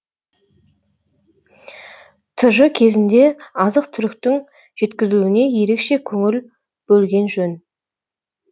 тж кезінде азық түліктің жеткізілуіне ерекше көңіл бөлген жөн